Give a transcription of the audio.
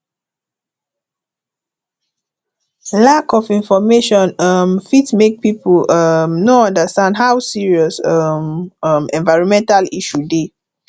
lack of information um fit make pipo um no understand how serious um um environmental issue dey